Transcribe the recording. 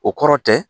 O kɔrɔ tɛ